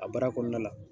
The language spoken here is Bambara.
A baara kɔnɔna la